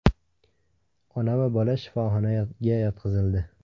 Ona va bola shifoxona yotqizildi.